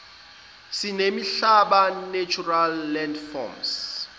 zemihlaba natural landforms